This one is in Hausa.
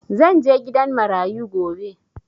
Zan je gidan marayu gobe.